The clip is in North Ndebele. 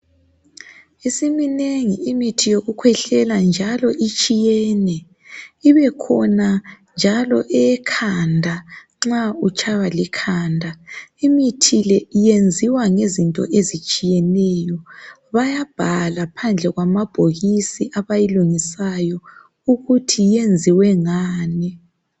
Isiminengi imithi yokukhwehlela njalo itshiyene ibe khona njalo eyekhanda nxa utshaywa likhanda. Imithi le iyenziwa ngezinto ezitshiyeneyo, bayabhala ngaphandle kwamabhokisi abayilungisayo ukuthi yenziwe ngani.